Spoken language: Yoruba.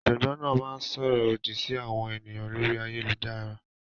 Ọ̀jọ́gbọǹ náà má ǹ ṣórọ̀ òdí sí àwọn ènìyàn lórí ayélujàrà.